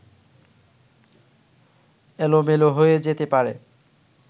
এলোমেলো হয়ে যেতে পারে